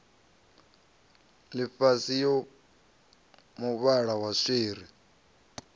ḽifhasi ya muvhala wa swiri